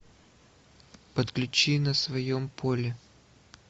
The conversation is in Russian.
подключи на своем поле